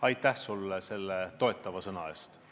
Aitäh sulle selle toetava sõna eest!